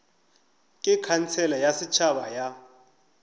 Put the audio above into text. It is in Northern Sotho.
ke khansele ya setšhaba ya